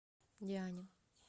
диане